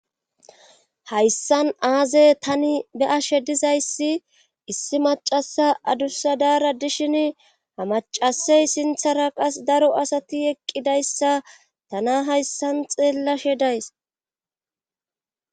hayssan aaze tani be'ashe dizayssi issi macasa adussadaara dishin ha macasey sinthara qas daro asati eqqidayssa tana hayssan xeellashe days